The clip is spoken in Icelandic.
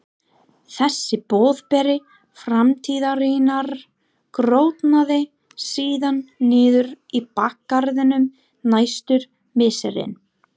Þessi boðberi framtíðarinnar grotnaði síðan niður í bakgarðinum næstu misserin.